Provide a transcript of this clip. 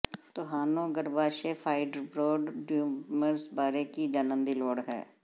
ਤੁਹਾਨੂੰ ਗਰੱਭਾਸ਼ਯ fibroid tumours ਬਾਰੇ ਕੀ ਜਾਣਨ ਦੀ ਲੋੜ ਹੈ